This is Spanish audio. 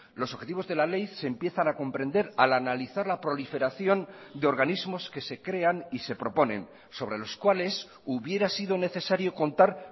los objetivos de la ley se empiezan a comprender al analizar la proliferación de organismos que se crean y se proponen sobre los cuales hubiera sido necesario contar